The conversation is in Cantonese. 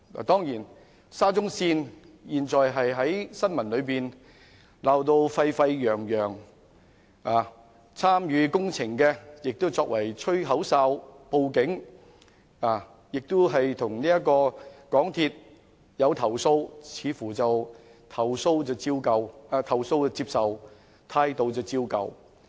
當然，沙中線的新聞現時鬧得沸沸揚揚，參與工程的人亦作了"吹口哨"及報案者，向香港鐵路有限公司投訴，但似乎"投訴接受，態度照舊"。